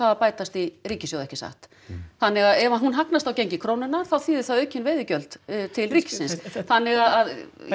að bætast í ríkissjóð ekki satt þannig að ef hún hagnast á gengi krónunnar þá þýðir það aukin veiðileyfagjöld til ríkisins þannig að